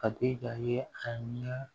Kati ka ye a ɲɛ